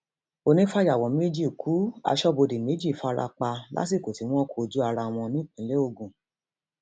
onífàyàwọ méjì ku aṣọbodè méjì fara pa lásìkò tí wọn kojú ara wọn nípínlẹ ogun